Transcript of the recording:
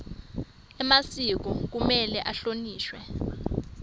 emasiko kumele ahlonishwe